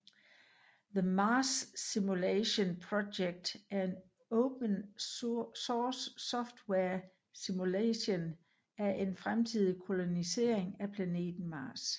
The Mars Simulation Project er en open source software simulation af en fremtidig kolonisering af planeten Mars